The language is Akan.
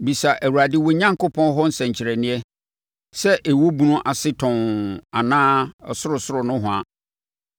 “Bisa Awurade wo Onyankopɔn hɔ nsɛnkyerɛnneɛ, sɛ ɛwɔ ebunu ase tɔnn anaa ɔsorosoro nohoa.”